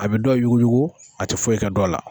A bi dɔw yuguyugu a ti foyi kɛ dɔw la.